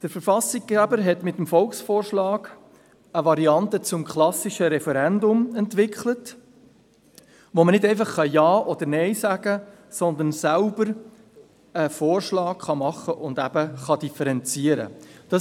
Der Verfassungsgeber hat mit dem Volksvorschlag eine Variante des klassischen Referendums entwickelt, sodass nicht einfach nur Ja oder Nein gesagt, sondern eigens ein Vorschlag gemacht und so differenziert werden kann.